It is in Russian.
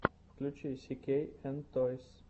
включи си кей эн тойс